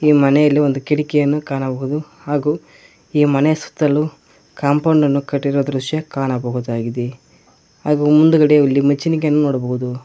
ಈ ಮನೆಯಲ್ಲಿ ಒಂದು ಕಿಟಕಿಯನ್ನು ಕಾಣಬಹುದು ಹಾಗೂ ಈ ಮನೆ ಸುತ್ತಲೂ ಕಾಂಪೌಂಡನ್ನು ಕಟ್ಟಿರುವ ದೃಶ್ಯ ಕಾಣಬಹುದಾಗಿದೆ ಹಾಗೂ ಇಲ್ಲಿ ಮುಂದುಗಡೆ ನಿಚ್ಚುಣಿಕೆಯನ್ನ ನೋಡಬಹುದು.